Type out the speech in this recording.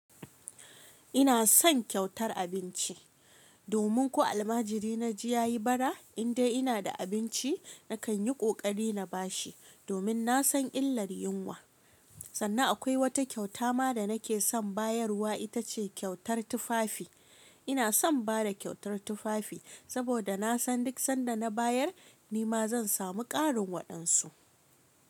Ina son kyautar abinci. Domin ko almajiri na ji ya yi bara, in dai ina da abinci, nakan yi ƙoƙari na ba shi, domin na san illar yunwa. Sannan akwai wata kyauta ma da nake son bayarwa ita ce kyautar tufafi. Ina son bada kyautar tufafi saboda na san duk sanda na bayar, ni ma zan samu ƙarin waɗansu.